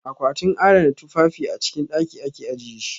A kwatin adana tufafi a cikin ɗaki ake ajiye shi.